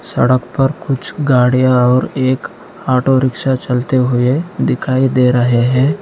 सड़क पर कुछ गाड़ियां और एक ऑटो रिक्शा चलते हुए दिखाई दे रहे हैं।